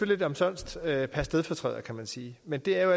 lidt omsonst at gøre per stedfortræder kan man sige men det er jo